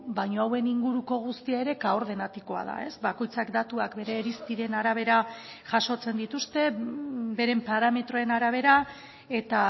baino hauen inguruko guztia ere kaordenatikoa da ez bakoitzak datuak bere irizpideen arabera jasotzen dituzte beren parametroen arabera eta